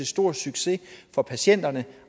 stor succes for patienterne